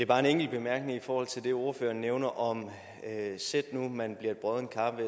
bare en enkelt bemærkning i forhold til det ordføreren nævner om sæt nu at man bliver et broddent kar